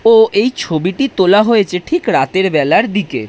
ও এই ছবিটি তোলা হয়েছে ঠিক রাতের বেলার দিকে।